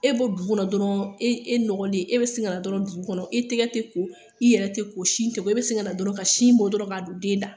E bɛ bɔ dugu kɔnɔ dɔrɔn, e nɔgɔnlen, e bɛ sin kana dɔrɔn dugu kɔnɔ, e tɛgɛ tɛ ko, e yɛrɛ tɛ ko, sin tɛ ko, e bɛ sin kana dɔrɔn ka sin bɔ dɔrɔn ka don den da